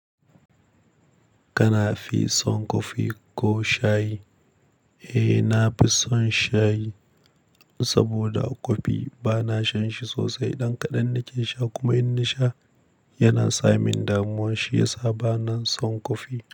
Kana fi son kofi ko shayi? Eh, na fi son shayi saboda kofi ba na shan shi sosai. Dan kaɗan nake sha kuma in nasha yana sa min damuwa shiyasa bana son kofi.